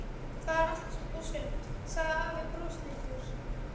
Það er allt og sumt, sagði afi brosleitur.